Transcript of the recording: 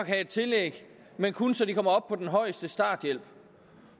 have et tillæg men kun så de kommer op på den højeste starthjælp